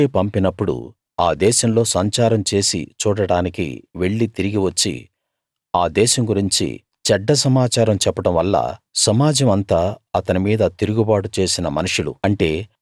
మోషే పంపినప్పుడు ఆ దేశంలో సంచారం చేసి చూడడానికి వెళ్లి తిరిగి వచ్చి ఆ దేశం గురించి చెడ్డ సమాచారం చెప్పడం వల్ల సమాజం అంతా అతని మీద తిరుగుబాటు చేసిన మనుషులు